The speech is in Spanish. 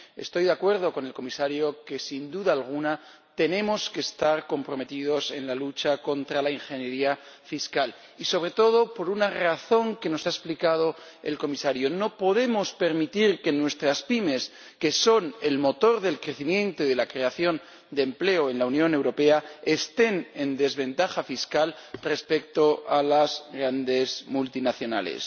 Estoy de acuerdo con el Comisario en que, sin duda alguna, tenemos que estar comprometidos en la lucha contra la ingeniería fiscal y, sobre todo, por una razón que nos ha explicado el Comisario no podemos permitir que nuestras pymes, que son el motor del crecimiento y de la creación de empleo en la Unión Europea, estén en desventaja fiscal respecto a las grandes multinacionales.